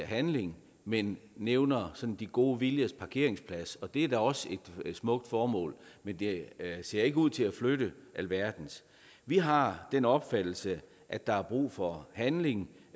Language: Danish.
handling men nævner sådan de gode viljers parkeringsplads og det er da også et smukt formål men det ser ikke ud til at flytte alverden vi har den opfattelse at der er brug for handling